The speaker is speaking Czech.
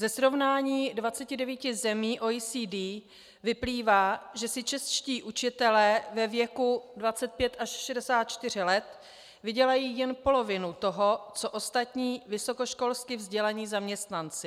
Ze srovnání 29 zemí OECD vyplývá, že si čeští učitelé ve věku 25 až 64 let vydělají jen polovinu toho, co ostatní vysokoškolsky vzdělaní zaměstnanci.